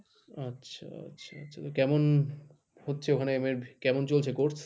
আচ্ছা, আচ্ছা, আচ্ছা কেমন হচ্ছে ওখানে MA এর কেমন চলছে course?